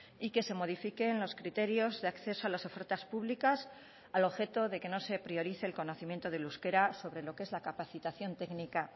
y que se modifiquen los criterios de acceso a las ofertas públicas al objeto de que no se priorice el conocimiento del euskera sobre lo que es la capacitación técnica